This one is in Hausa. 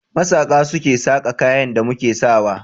Masaƙa su ke saƙa kayan da muke sa wa.